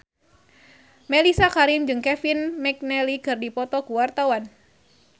Mellisa Karim jeung Kevin McNally keur dipoto ku wartawan